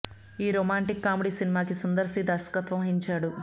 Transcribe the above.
ఈ romantic comedy సినిమాకి Sundar C దర్శకత్వం వహించాడు